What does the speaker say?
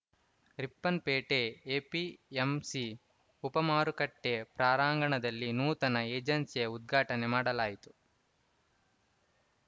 Ripponpet APMC ಉಪಮಾರುಕಟ್ಟೆಪ್ರಾರಾಂಗಣದಲ್ಲಿ ನೂತನ ಏಜೆನ್ಸಿಯ ಉದ್ಘಾಟನೆ ಮಾಡಲಾಯಿತು